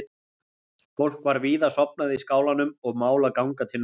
Fólk var víða sofnað í skálanum og mál að ganga til náða.